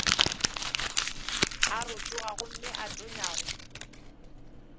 a rotoga gomme a tonyago